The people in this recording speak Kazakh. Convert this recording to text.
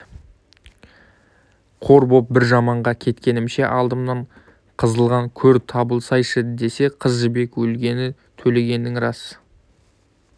қор болып бір жаманға кеткенімше алдымнан қазылған көр табылсайшы десе қыз жібек өлгені төлегеннің рас